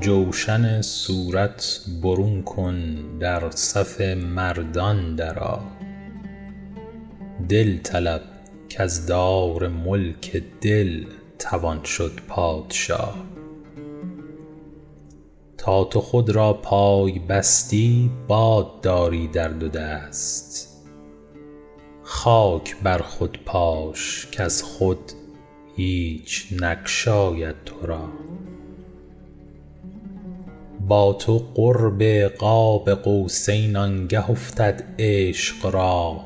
جوشن صورت برون کن در صف مردان درآ دل طلب کز دار ملک دل توان شد پادشا تا تو خود را پای بستی باد داری در دو دست خاک بر خود پاش کز خود هیچ ناید تو را با تو قرب قاب قوسین آنگه افتد عشق را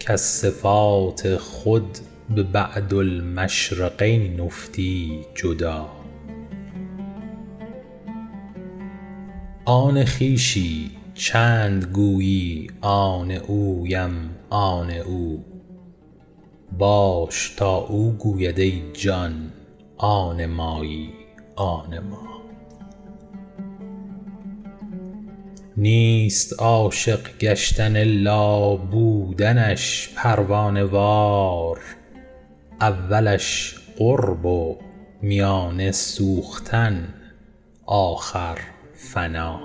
کز صفات خود به بعدالمشرقین افتی جدا آن خویشی چند گویی آن اویم آن او باش تا او گوید ای جان آن مایی آن ما نیست عاشق گشتن الا بودنش پروانه وار اولش قرب و میانه سوختن آخر فنا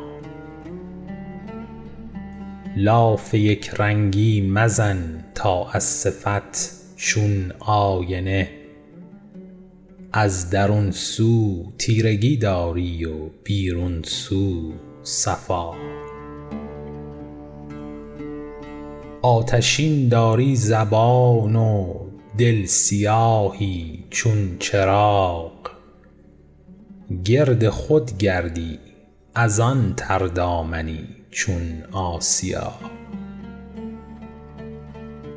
لاف یک رنگی مزن تا از صفت چون آینه از درون سو تیرگی داری و بیرون سو صفا آتشین داری زبان زآن دل سیاهی چون چراغ گرد خود گردی از آن تردامنی چون آسیا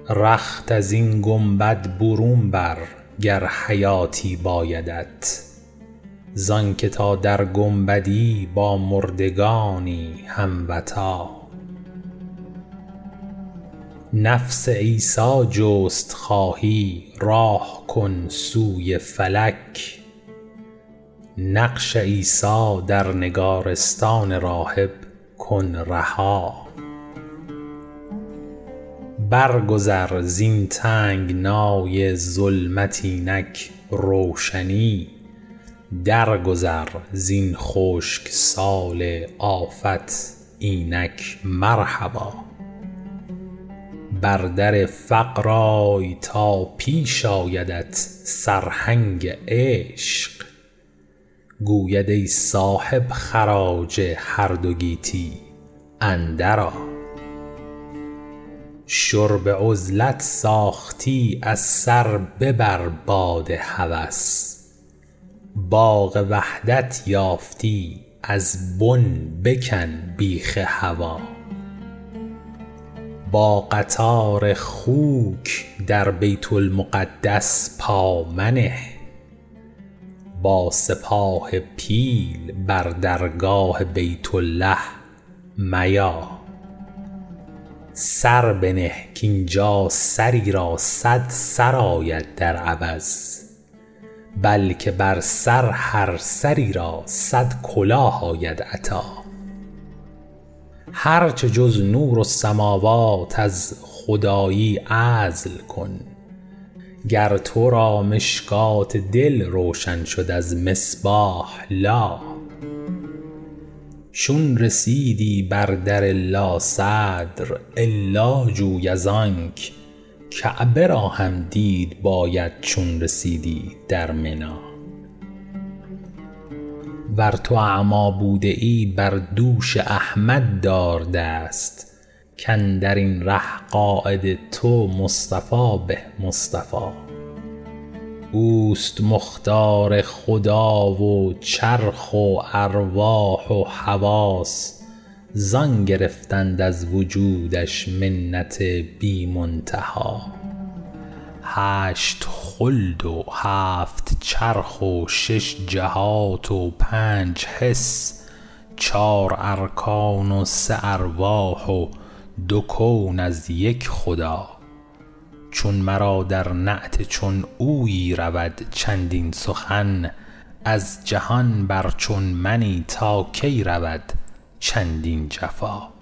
رخت از این گنبد برون بر گر حیاتی بایدت زآن که تا در گنبدی با مردگانی هم وطا نفس عیسی جست خواهی راه کن سوی فلک نقش عیسی در نگارستان راهب کن رها برگذر زین تنگنای ظلمت اینک روشنی درگذر زین خشک سال آفت اینک مرحبا بر در فقر آی تا پیش آیدت سرهنگ عشق گوید ای صاحب خراج هر دو گیتی اندر آ شرب عزلت ساختی از سر ببر باد هوس باغ وحدت یافتی از بن بکن بیخ هوا با قطار خوک در بیت المقدس پا منه با سپاه پیل بر درگاه بیت الله میا سر بنه کاینجا سری را صد سر آید در عوض بلکه بر سر هر سری را صد کلاه آید عطا هرچه جز نورالسموات از خدایی عزل کن گر تو را مشکوة دل روشن شد از مصباح لا چون رسیدی بر در لا صدر الا جوی از آنک کعبه را هم دید باید چون رسیدی در منا ور تو اعمی بوده ای بر دوش احمد دار دست که اندر این ره قاید تو مصطفی به مصطفا اوست مختار خدا و چرخ و ارواح و حواس زان گرفتند از وجودش منت بی منتها هشت خلد و هفت چرخ و شش جهات و پنج حس چار ارکان و سه ارواح و دو کون از یک خدا چون مرا در نعت چون اویی رود چندین سخن از جهان بر چون منی تا کی رود چندین جفا